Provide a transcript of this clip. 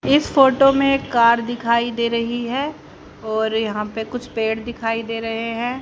इस फोटो में कार दिखाई दे रही है और यहां पे कुछ पेड़ दिखाई दे रहे हैं।